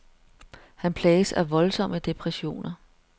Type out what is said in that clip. Han plages af voldsomme depressioner.